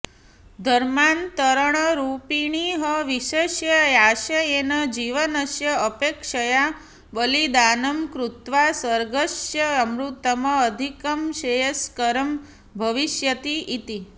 धर्मान्तरणरूपिणः विषस्य आशयेन जीवनस्य अपेक्षया बलिदानं कृत्वा स्वर्गस्य अमृतम् अधिकं श्रेयस्करं भविष्यति इति